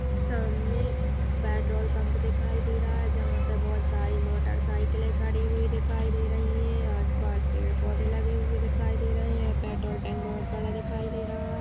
सामने petrol pump दिखाई दे रहा है जहाँ पे बहोत सारी मोटर साइकिल खड़ी हुई दिखाई दे रही हैं आसपास पेड़ पौधे लगे हुए दिखाई दे रहे हैं पेट्रोल टैंक बहोत बड़ा दिखाई दे रहा है।